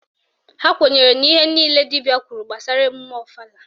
Ha kwenyere na ihe niile dibịa kwuru gbasara emume ọfala